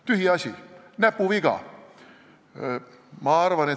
Tühiasi, näpuviga!